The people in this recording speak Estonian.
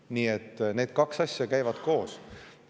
Nii et need kaks asja käivad koos.